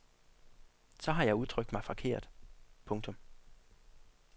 Så har jeg udtrykt mig forkert. punktum